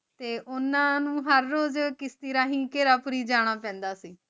ਤੇ ਓਨਾਂ ਨੂ ਹਰ ਰੋਜ਼ ਕਿਸੇ ਰਹੀ ਜਾਣਾ ਪੈਂਦਾ ਸੀ